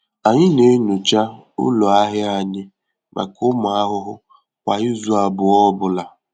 Anyị na-enyocha ụlọ ahịa anyị maka ụmụ ahụhụ kwa izu abụọ ọ bụla.